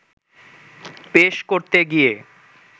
পেশ করতে গিয়ে